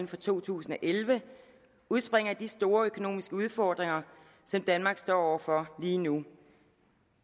for to tusind og elleve udspringer af de store økonomiske udfordringer som danmark står over for lige nu